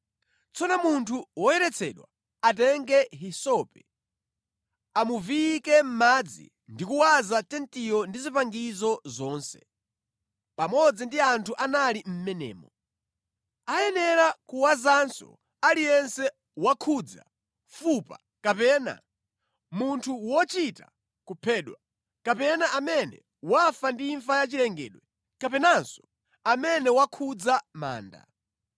Tsono munthu woyeretsedwa atenge hisope, amuviyike mʼmadzi ndi kuwaza tentiyo ndi zipangizo zonse, pamodzi ndi anthu anali mʼmenemo. Ayenera kuwazanso aliyense wakhudza fupa kapena, munthu wochita kuphedwa, kapena amene wafa ndi imfa ya chilengedwe kapenanso amene wakhudza manda.